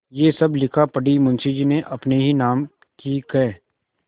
यह सब लिखापढ़ी मुंशीजी ने अपने ही नाम की क्